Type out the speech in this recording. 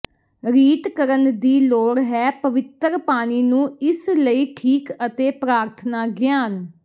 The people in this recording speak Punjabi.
ਰੀਤ ਕਰਨ ਦੀ ਲੋੜ ਹੈ ਪਵਿੱਤਰ ਪਾਣੀ ਨੂੰ ਇਸ ਲਈ ਠੀਕ ਅਤੇ ਪ੍ਰਾਰਥਨਾ ਗਿਆਨ